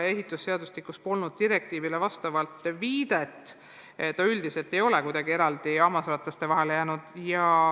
Ehitusseadustikus polnud viidet direktiivile, üldiselt ei ole arhitekt kuidagi hammasrataste vahele jäänud.